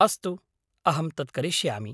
अस्तु, अहं तत् करिष्यामि।